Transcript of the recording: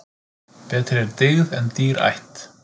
Betri er dyggð en dýr ætt.